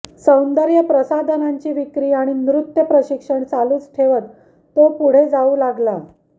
सौंदर्यप्रसाधनांची विक्री आणि नृत्य प्रशिक्षण चालूच ठेवत तो पुढे जाऊ लागला